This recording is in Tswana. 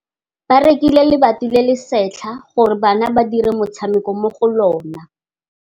Ba rekile lebati le le setlha gore bana ba dire motshameko mo go lona.